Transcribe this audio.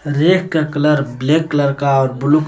rack का colour black colour का और ब्लू --